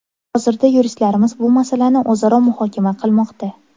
Hozirda yuristlarimiz bu masalani o‘zaro muhokama qilmoqda.